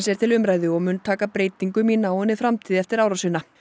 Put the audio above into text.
er til umræðu og mun taka breytingum í náinni framtíð eftir árásina